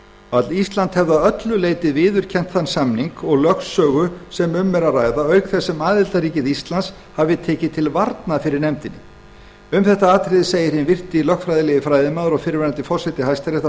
að ísland hafi að öllu leyti viðurkennt þann samning og lögsögu sem um er að ræða auk þess sem aðildarríkið ísland hafi tekið til varnar fyrir nefndinni hinn virti lögfræðilegi fræðimaður og fyrrverandi forseti hæstaréttar